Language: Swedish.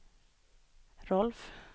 Rolf